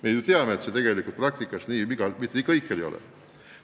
Me ju teame, et selleni tegelikult kõikjal jõutud ei ole.